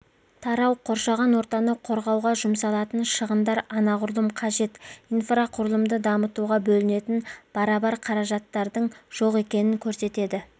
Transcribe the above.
тарау қоршаған ортаны қорғауға жұмсалатын шығындар анағұрлым қажет инфрақұрылымды дамытуға бөлінетін барабар қаражаттардың жоқ екенін көрсетеді